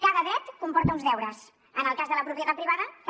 cada dret comporta uns deures en el cas de la propietat privada també